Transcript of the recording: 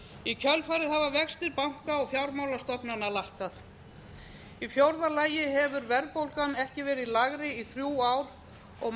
í kjölfarið hafa vextir banka og fjármálastofnana lækkað í fjórða lagi hefur verðbólgan ekki verið lægri í þrjú ár og